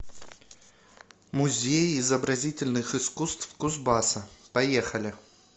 музей изобразительных искусств кузбасса поехали